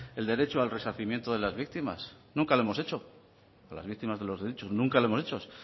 el derecho al resarcimiento de la víctimas nunca lo hemos hecho a las víctimas de los derechos nunca lo hemos hecho